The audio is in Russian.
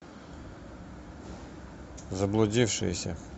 заблудившиеся